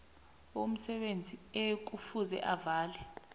umsebenzi ekufuze avale